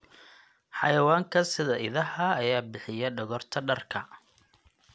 Xayawaanka sida idaha ayaa bixiya dhogorta dharka.